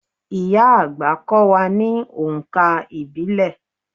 Ìyá-àgbà á kọ́ wa ní oǹkà ìbílẹ̀.